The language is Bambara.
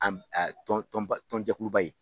tɔn tɔnba tɔn jɛkuluba ye.